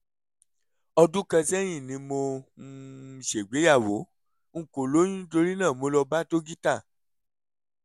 ọdún kan sẹ́yìn ni mo um ṣègbéyàwó; n kò lóyún nítorí náà mo lọ bá dókítà